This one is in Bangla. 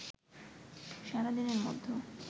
সারা দিনের মধ্যে